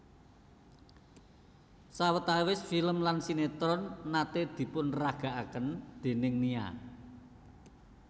Sawetawis film lan sinetron nate dipunparagakaken déning Nia